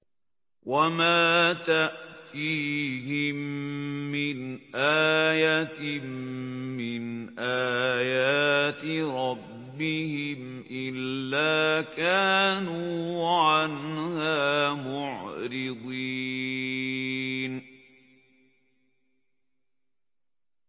وَمَا تَأْتِيهِم مِّنْ آيَةٍ مِّنْ آيَاتِ رَبِّهِمْ إِلَّا كَانُوا عَنْهَا مُعْرِضِينَ